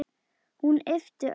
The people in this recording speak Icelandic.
Hún ypptir öxlum.